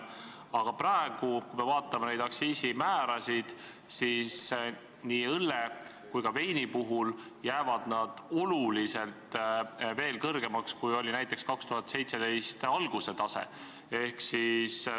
Aga praegu, kui me vaatame neid aktsiisimäärasid, siis me näeme, et nii õlle kui ka veini puhul jäävad need ikkagi märksa kõrgemaks, kui oli näiteks 2017. aasta alguse tase.